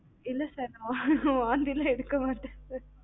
இல்ல sir வாந்திலாம் நான் எடுக்க மாட்டான்